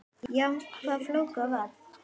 Já, hvað fólk varðar.